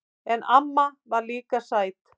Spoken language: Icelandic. En amma var líka sæt.